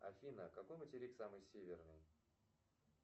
афина какой материк самый северный